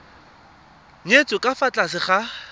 nyetswe ka fa tlase ga